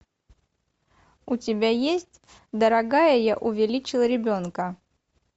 у тебя есть дорогая я увеличил ребенка